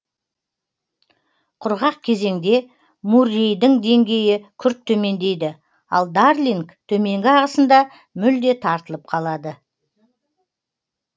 құрғақ кезеңде муррейдің деңгейі күрт төмендейді ал дарлинг төменгі ағысында мүлде тартылып қалады